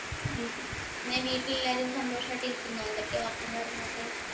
ഉം പിന്നെ വീട്ടിൽ എല്ലാരും സന്തോഷായിട്ട് ഇരിക്കുന്നോ എന്തൊക്കെയാ work ഉം കാര്യങ്ങളൊക്കെ